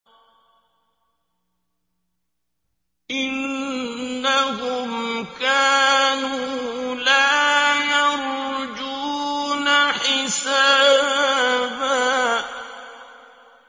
إِنَّهُمْ كَانُوا لَا يَرْجُونَ حِسَابًا